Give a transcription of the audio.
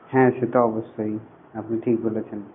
হ্যা সে তো অবশ্যই আপনি ঠিক বলেছেন.